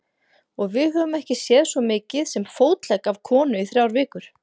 Og við höfum ekki séð svo mikið sem fótlegg af konu í þrjár vikur.